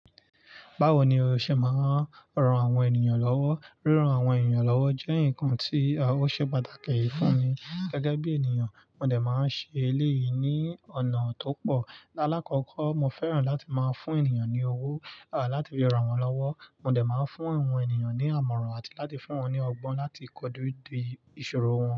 Báwo ni o ṣe máa ń ran àwọn ènìyàn lọ́wọ́? Ríran àwọn ènìyàn lọ́wọ́ jẹ́ nǹkan tí ó ṣe pàtàkì fún mi gẹ́gẹ́ bí ènìyàn. Mo dẹ̀ máa ń ṣe eléyìí ní ọ̀nà tó pọ̀. Láàkọ́kọ́, mo fẹ́ràn láti máa fún ènìyàn ní owó, àti láti fi ra wọn lọ́wọ́. Mo dẹ̀ máa ń fún àwọn ènìyàn ní àmọ̀ràn àti láti fún wọn ní ọgbọ́n láti kọju ìṣòro wọn.